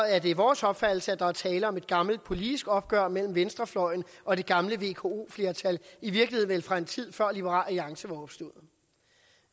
er det vores opfattelse at der er tale om et gammelt politisk opgør mellem venstrefløjen og det gamle vko flertal i virkeligheden fra en tid før liberal alliance var opstået